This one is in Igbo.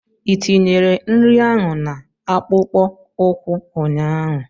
Ị tinyere nri ahụ na akpụkpọ ụkwụ ụnyaahụ?